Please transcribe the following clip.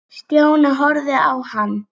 Stjáni horfði á hann.